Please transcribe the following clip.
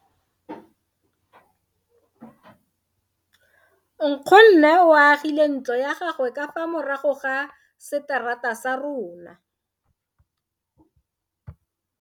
Nkgonne o agile ntlo ya gagwe ka fa morago ga seterata sa rona.